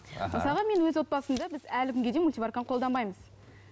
аха мысалға мен өз отбасымда біз әлі күнге дейін мультиварканы қолданбаймыз